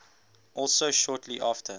also shortly after